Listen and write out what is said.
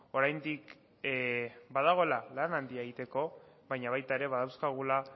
oraindik badagoela lan handia egiteko baina baita ere badauzkagula